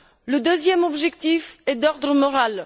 Le deuxième objectif est d'ordre moral.